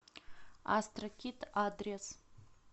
астрокид адрес